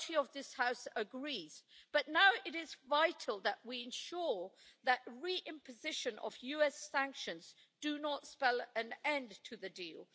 majority of this House agrees, but now it is vital that we ensure that the re-imposition of US sanctions does not spell an end to the deal.